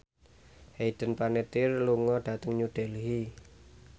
Hayden Panettiere lunga dhateng New Delhi